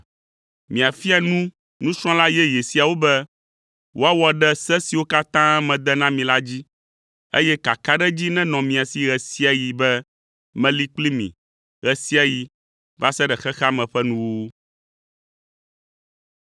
Miafia nu nusrɔ̃la yeye siawo be woawɔ ɖe se siwo katã mede na mi la dzi, eye kakaɖedzi nenɔ mia si ɣe sia ɣi be meli kpli mi ɣe sia ɣi va se ɖe xexea me ƒe nuwuwu.”